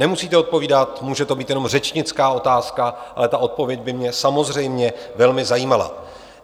Nemusíte odpovídat, může to být jenom řečnická otázka, ale ta odpověď by mě samozřejmě velmi zajímala.